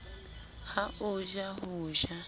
ha o ja ho ja